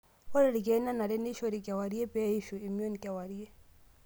Ore ilkeek nenare neishoori keawirie pee eishu emion kewarie.